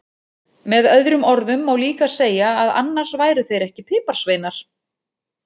Með öðrum orðum má líka segja að annars væru þeir ekki piparsveinar!